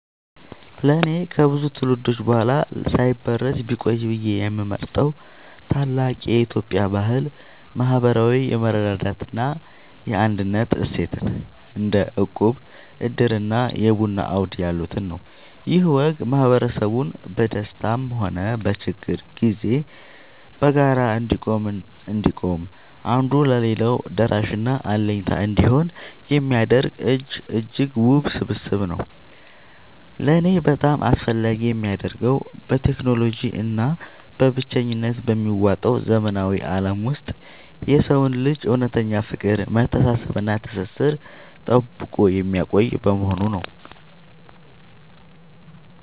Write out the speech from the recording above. ለእኔ ከብዙ ትውልዶች በኋላ ሳይበረዝ ቢቆይ ብዬ የምመርጠው ታላቅ የኢትዮጵያ ባህል **ማህበራዊ የመረዳዳት እና የአንድነት እሴትን** (እንደ እቁብ፣ ዕድር እና የቡና አውድ ያሉትን) ነው። ይህ ወግ ማህበረሰቡ በደስታም ሆነ በችግር ጊዜ በጋራ እንዲቆም፣ አንዱ ለሌላው ደራሽና አለኝታ እንዲሆን የሚያደርግ እጅግ ውብ ስብስብ ነው። ለእኔ በጣም አስፈላጊ የሚያደርገው፣ በቴክኖሎጂ እና በብቸኝነት በሚዋጠው ዘመናዊ ዓለም ውስጥ የሰውን ልጅ እውነተኛ ፍቅር፣ መተሳሰብ እና ትስስር ጠብቆ የሚያቆይ በመሆኑ ነው።